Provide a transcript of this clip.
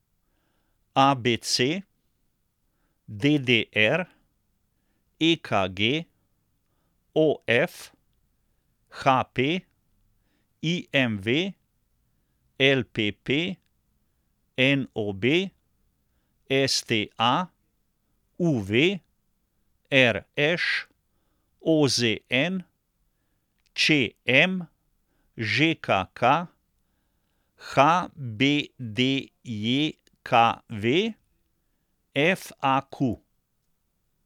A B C; D D R; E K G; O F; H P; I M V; L P P; N O B; S T A; U V; R Š; O Z N; Č M; Ž K K; H B D J K V; F A Q.